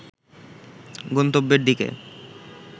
গন্তব্যের দিকে